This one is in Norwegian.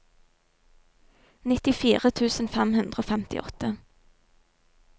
nittifire tusen fem hundre og femtiåtte